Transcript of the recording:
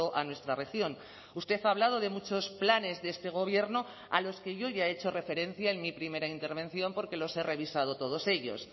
a nuestra región usted ha hablado de muchos planes de este gobierno a los que yo ya he hecho referencia en mi primera intervención porque los he revisado todos ellos